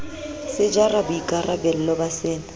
se jara boikarabello ba sena